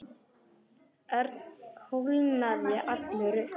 Örn kólnaði allur upp.